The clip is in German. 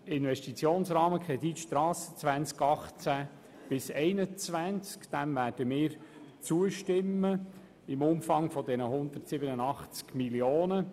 Dem Investitionsrahmenkredit 2018–2021 werden wir im Umfang der 187 Mio. Franken zustimmen.